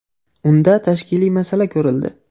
Unda tashkiliy masala ko‘rildi.